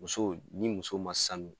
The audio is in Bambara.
Muso ni muso ma sanu